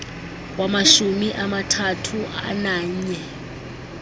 wamashumi amathathu ananye